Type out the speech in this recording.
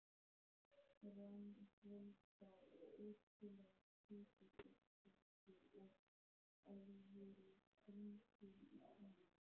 Grannholda og ótrúlega hvítur og sléttur og alvöruþrunginn í framan.